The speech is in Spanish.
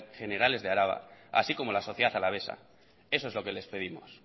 generales de araba así como la sociedad alavesa eso es lo que les pedimos